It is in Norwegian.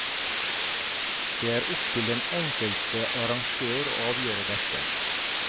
Det er opptil den enkelte arrangør å avgjøre dette.